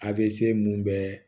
A bɛ se mun bɛɛ